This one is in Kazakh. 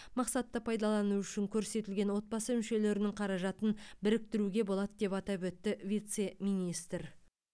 мақсатты пайдалану үшін көрсетілген отбасы мүшелерінің қаражатын біріктіруге болады деп атап өтті вице министр